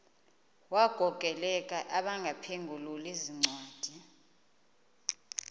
wagokelela abaphengululi zincwadi